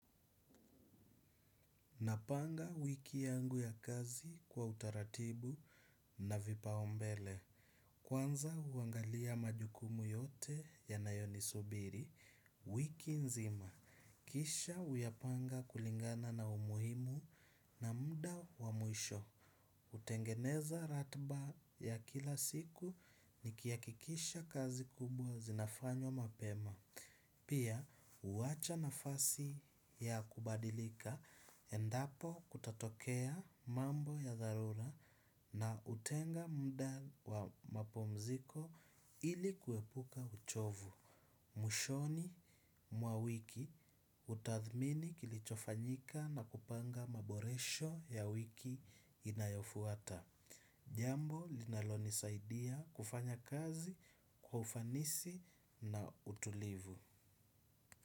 Napanga wiki yangu ya kazi kwa utaratibu na vipaumbele. Kwanza huangalia majukumu yote yanayonisubiri wiki nzima. Kisha huyapanga kulingana na umuhimu na muda wa mwisho. Hutengeneza ratiba ya kila siku nikihakikisha kazi kubwa zinafanywa mapema. Pia huwacha nafasi ya kubadilika endapo kutatokea mambo ya dharura na hutenga muda wa mapumziko ili kuepuka uchovu. Mwishoni mwa wiki hutadhmini kilichofanyika na kupanga maboresho ya wiki inayofuata. Jambo linalonisaidia kufanya kazi kwa ufanisi na utulivu.